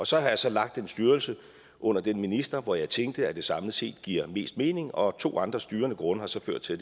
så har jeg så lagt den styrelse under den minister hvor jeg tænkte at det samlet set gav mest mening og to andre styrende grunde har så ført til